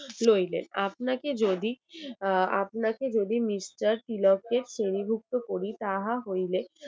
লইবেন। আপনাকে যদি আপনাকে যদি mister নথিভুক্ত করি তাহা হইলে